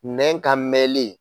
Nɛ ka mɛnli.